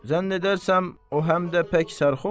Zənn edərsən o həm də pək sərxoş.